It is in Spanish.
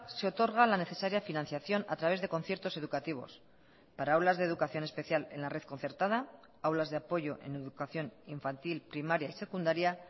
se otorga la necesaria financiación a través de conciertos educativos para aulas de educación especial en la red concertada aulas de apoyo en educación infantil primaria y secundaria